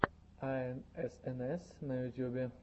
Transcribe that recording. аэнэсэнэс на ютюбе